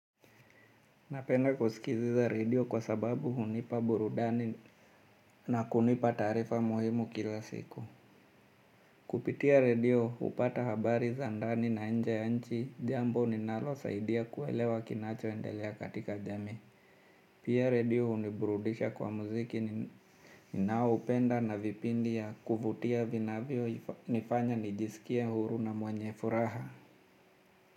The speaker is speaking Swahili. Napenda kusikiliza redio kwa sababu hunipa burudani na kunipa taarifa muhimu kila siku. Kupitia redio hupata habari za ndani na nje ya nchi, jambo linalonisaidia kuelewa kinachoendelea katika jamii. Pia redio huniburudisha kwa muziki ninaoupenda na vipindi vya kuvutia vinavyonifanya nijisikie huru na mwenye furaha.